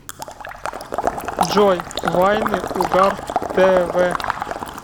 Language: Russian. джой вайны угар тэ вэ